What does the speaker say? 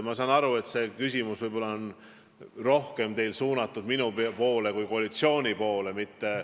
Ma saan aru, et see küsimus on teil võib-olla rohkem suunatud minu kui koalitsiooni esindaja poole.